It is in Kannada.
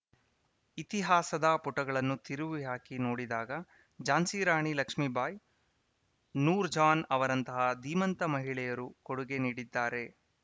ಇತಿಹಾಸದ ಪುಟಗಳನ್ನು ತಿರುವಿ ಹಾಕಿ ನೋಡಿದಾಗ ಝಾನ್ಸಿರಾಣಿ ಲಕ್ಷ್ಮೀಬಾಯಿ ನೂರ್‌ ಜಾನ್‌ ಅವರಂತಹ ಧೀಮಂತ ಮಹಿಳೆಯರು ಕೊಡುಗೆ ನೀಡಿದ್ದಾರೆ